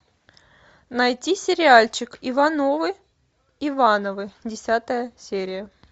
найти сериальчик ивановы ивановы десятая серия